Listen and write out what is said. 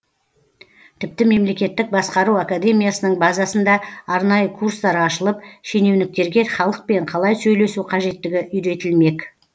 тіпті мемлекеттік басқару академиясының базасында арнайы курстар ашылып шенеуніктерге халықпен қалай сөйлесу қажеттігі үйретілмек